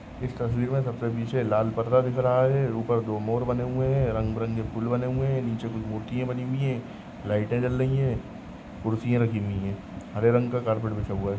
इस तस्वीर मे सबसे पिछे लाल परदा दिख रहा है। उपर दो मोर बने हुए है। रंगबीरंगी फूल बने हुए है। नीचे कुछ मूर्तिया बनी हुई है। लाइटे जल रही है। खुर्चिया रखी हुई है। हरे रंग का कार्पेट बिछा हुआ है।